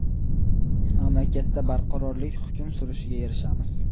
Mamlakatda barqarorlik hukm surishiga erishamiz.